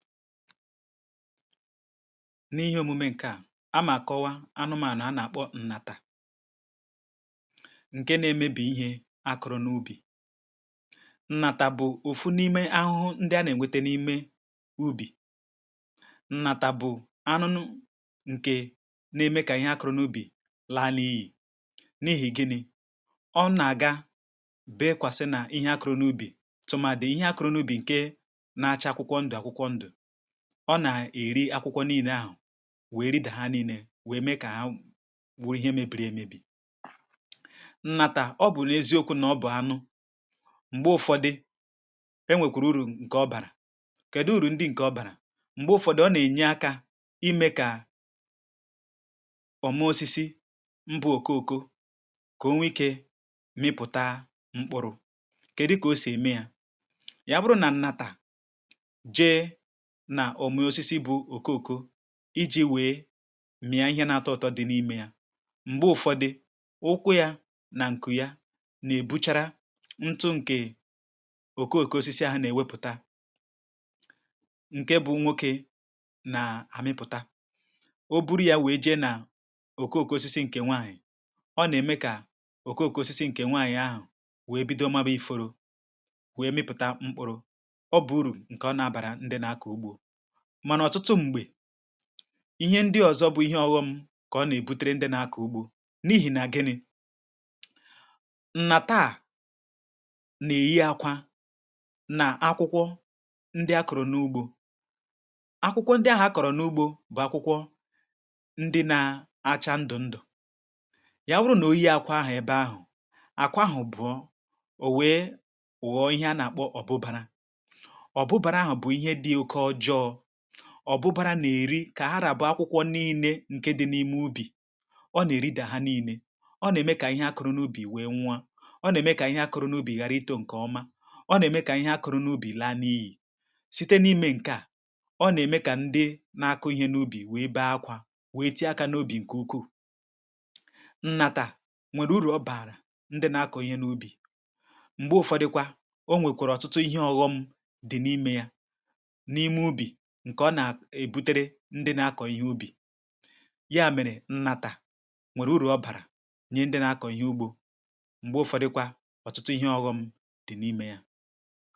N’ihe omume ǹkẹ̀ a, a mà kọwaa anụmànụ̀ a nà-àkpọ ǹnàtà ǹkẹ nà-emebì ihe akụrụ n’ubì. Ǹnàtà bụ̀ òfu n’ime ahụhụ ndị a nà-ènwete n’ime ubì. Ǹnàtà bụ̀ anụ n ǹkẹ nà-eme kà ihe akụrụnụ ubì laa n’ihi̇; n’ihi̇ gịnị̇? Ọnà-àga bèekwàsị nà ihe akụrụnụ ubì tụmàdị̀ ihe akụrụnụ ubì ǹkẹ na-achaa akwụkwọ ndụ̀ akwụkwọ ndụ̀. Ọ na-eri akwụkwọ nile ahụ̀ wee riidà ha niile wee mee ka ha w wuru ihe mebiri emebi. Ǹnàtà, ọ bụ n’eziokwu na ọ bụ̀ anụ, mgbe ụfọdị, enwekwuru urù nke ọ barà. Kedu urù ndị nke ọ barà? Mgbe ụfọdị, ọ na-enye akà ime ka ọma osisi mbụ òko òko ka o nwee ike mịpụta mkpụrụ. Kedu ka o si eme yà? Ya bụrụ na Ǹnàtà jee na òmùosisi bụ òkoòko, iji wèe m̀ị̀a ihe na-atọ ụ̇tọ̇ dị n’imė ya, m̀gbe ụ̀fọdị, ụkwụ ya na ǹkù ya nà-èbuchara ntụ ǹkè òkoòko osisi ahụ nà-èwepụ̀ta, ǹke bụ nwokė nà-àmịpụ̀ta, o buru ya wèe je na òkoòko osisi ǹkè nwaànyị̀, ọ nà-ème kà òkoòko osisi ǹkè nwaànyị̀ ahụ̀ wèe bido magba iforo wèe mịpụ̀ta mkpụrụ. Ọ bụ̀ urù nke ọ na abarà ndi nȧ-ȧkọ̀ ugbȯ. Mànà ọ̀tụtụ m̀gbè, ihe ndị ọ̀zọ bụ̇ ihe ọghọm kà ọ nà-èbutere ndị nȧ-ȧkọ̀ ugbȯ; n’ihì nà gịnị̇? Nà taà nà-èyi akwa nà akwụkwọ ndị akọ̀rọ̀ n’ugbȯ. Akwụkwọ ndị ahụ̀ akọ̀rọ̀ n’ugbȯ bụ̀ akwụkwọ ndị na-acha ndụ̀ ndụ̀. Ya wụrụ nà oyie akwa ahụ̀ ebe ahụ̀, àkwa ahụ̀ bụ̀ọ, o wee ghụ̀ọ ihe a nà-àkpọ Ọ̀bụbàrà. Ọ̀bụbara a bụ̇ ihe di oke ojọọ. Ọ̀bụbara nà-èri kà ha ràbụọ akwụkwọ nii̇nė ǹke dị n’ime ubì; ọ nà-èridà ha nii̇nė. Ọ nà-ème kà ihe akụrụ n’ubì wee nwuo a. Ọ nà-ème kà ihe akụrụ n’ubì ghara itȯ ǹkè ọma. Ọ nà-ème kà ihe akụrụ n’ubì laa n’ihì. Site n’ime ǹke à, ọ nà-ème kà ndị na-akụ̇ ihe n’ubì wèe bee akwȧ, wèe tie akȧ n’obì ǹkè ukwuù. Ǹnàtà nwèrè uru̇ ọ bààrà ndị na-akụ̇ ihe n’ubì. M̀gbè ụ̀fọdikwa, o nwèkwàrà ọ̀tụtụ ihe ọ̇ghọṁ dị n’ime yȧ, n’ime ubi nke ọ nà ebutere ndị na-akọ̀ ihe ubì. Ya mèrè, Ǹnàtà nwèrè uru ọ bàrà nye ndị na-akọ̀ ihe ugbo; mgbe ụfọdikwa, ọtụtụ ihe ọghọ̇m dị n’ime yȧ.